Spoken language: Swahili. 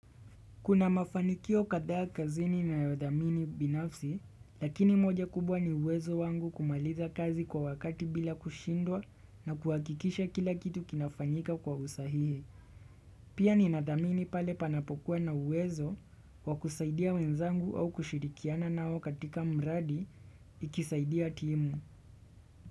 Kuna mafanikio kadhaa kazini ninayodhamini binafsi, lakini moja kubwa ni wezo wangu kumaliza kazi kwa wakati bila kushindwa na kuhakikisha kila kitu kinafanyika kwa usahihi. Pia ni nadhamini pale panapokuwa na uwezo wa kusaidia wenzangu au kushirikiana nao katika mradi ikisaidia timu.